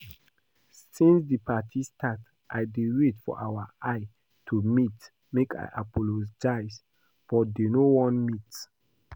Since the party start I dey wait for our eye to meet make I apologize but dey no wan meet